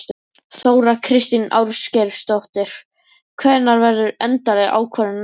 Þóra Kristín Ásgeirsdóttir: Hvenær verður endaleg ákvörðun tekin?